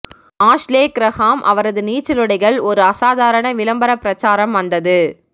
Ashley Graham அவரது நீச்சலுடைகள் ஒரு அசாதாரண விளம்பர பிரச்சாரம் வந்தது